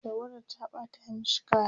tawadar ta ɓata mashi kaya